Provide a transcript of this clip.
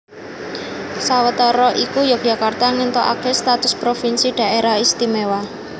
Sawetara iku Yogyakarta ngéntukaké status provinsi Dhaerah Istimewa